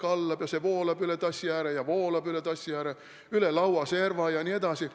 Kallab ja kallab, kuni see voolab üle tassi ääre, üle laua serva jne.